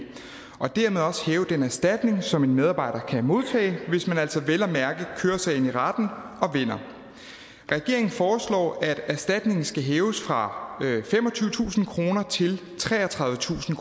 og dermed også hæve den erstatning som en medarbejder kan modtage hvis man altså vel at mærke kører sagen i retten og vinder regeringen foreslår at erstatningen skal hæves fra femogtyvetusind kroner til treogtredivetusind